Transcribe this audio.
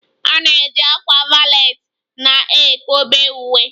A na-eji ákwà valet na-ekobe uwe